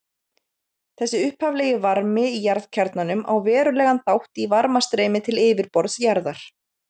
Þessi upphaflegi varmi í jarðkjarnanum á verulegan þátt í varmastreymi til yfirborðs jarðar.